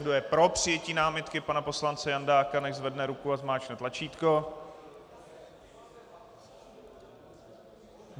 Kdo je pro přijetí námitky pana poslance Jandáka, nechť zvedne ruku a zmáčkne tlačítko.